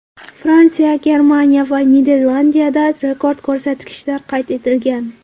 Fransiya, Germaniya va Niderlandiyada rekord ko‘rsatkichlar qayd etilgan.